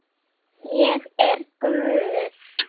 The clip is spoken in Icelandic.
Ég er guð.